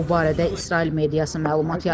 Bu barədə İsrail mediası məlumat yayıb.